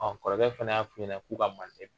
Ɔ kɔrɔkɛ fɛna y' fuɲɛnɛ k'u ka Mande